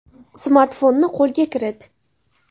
Smartfonni qo‘lga kirit!